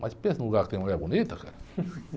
Mas pensa num lugar que tem mulher bonita, cara.